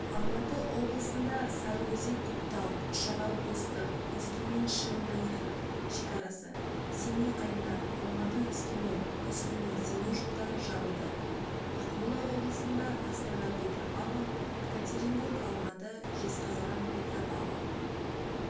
алматы облысында сарыөзек-көктал үшарал-достық өскемен-шемонаиха шекарасы семей-қайнар алматы-өскемен өскемен-семей жолдары жабылды ақмола облысында астана-петропавл екатеринбург-алматы жезқазған-петропавл